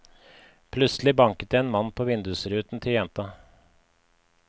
Plutselig banket det en mann på vindusruten til jenta.